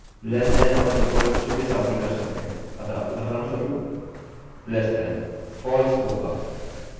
आप इसी तरह से less than छोटा या equal to बराबर के साथ भी कर सकते हैं अतः उदहारणस्वरूप less than